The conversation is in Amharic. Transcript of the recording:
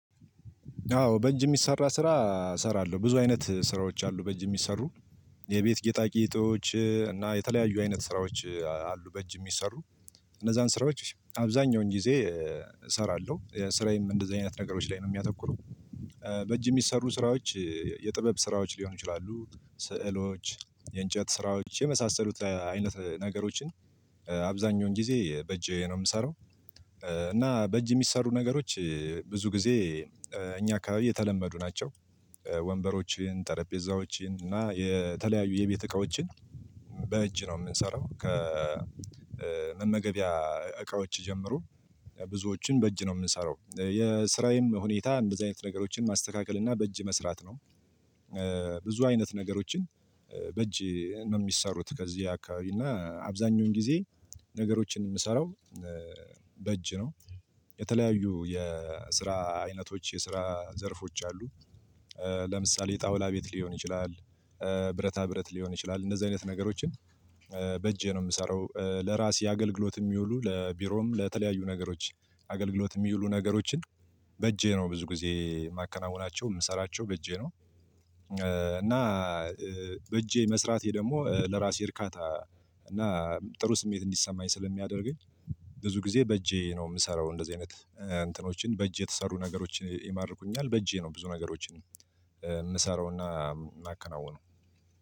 አዎ በእጅ ሚሰራ ስራ እሰራለሁ፤ ብዙ አይነት ስራዎች አሉ በእጅ የሚሰሩ የቤት ጌጣ ጌጦች እና የተለያዩ አይነት ስራዎች አሉ በእጅ የሚሰሩ እነዛን ስራዎች አብዛኛውን ጊዜ እሰራለው፤ ስራዬም እንደዚህ አይነት ነገሮች ላይ ነው ሚያተኩረው። በእጅ የሚሰሩ ስራዎች የጥበብ ስራዎች ሊሆኑ ይችላሉ፤ ስዕሎች፣ የእንጨት ስራዎች የመሳሰሉት አይነት ነገሮችን አብዛኛውን ጊዜ በእጄ ነው የምሰራው። እና በእጅ የሚሰሩ ነገሮች ብዙ ጊዜ እኛ አካባቢ የተለመዱ ናቸው። ወንበሮችን፣ ጠረጴዛዎችን እና የተለያዩ የቤት እቃዎችን በእጅ ነው ምንሰራው። ከመመገቢያ እቃዎች ጀምሮ ብዙዎችን በእጅ ነው ምንሰራው። የስራዬም ሁኔታ እንደዚህ አይነት ነገሮችን ማስተካከል እና በእጅ መስራት ነው። ብዙ አይነት ነገሮችን በእጅ ነው ሚሰሩት ከዚህ አካባቢ እና አብዛኛውን ጊዜ ነገሮችን ምሰራው በእጅ ነው። የተለያዩ የስራ አይነቶች የስራ ዘርፎች አሉ። ለምሳሌ የጣውላ ቤት ሊሆን ይችላል፤ ብረታ ብረት ሊሆን ይችላል እንደዚህ አይነት ነገሮችን በእጄ ነው ምሰራው ለራሴ አገልግሎት የሚውሉ ለቢሮም ለተለያዩ ነገሮች አገልግሎት ሚይሉ ነገሮችን በእጄ ነው ብዙ ጊዜ ማከናወናቸው የምሰራቸው በእጄ ነው። እና በእጄ መስራቴ ደግሞ ለራሴ እርካታ እና ጥሩ ስሜት እንዲሰማኝ ስለሚያደርገኝ። ብዙ ጊዜ በእጄ ነው ምሰራው እንደዚህ አይነት እንትኖችን በእጅ የተሰሩ ነገሮችን ይማርኩኛል በእጄ ነው ብዙ ነገሮችን እምሰራውና ማከናውነው